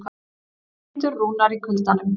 Kindur rúnar í kuldanum